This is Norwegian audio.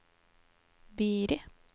Biri